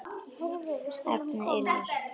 Efnið er líkt.